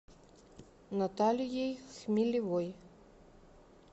наталией хмелевой